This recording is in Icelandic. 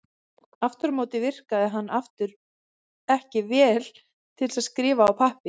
Aftur á móti virkaði hann ekki vel til að skrifa á pappír.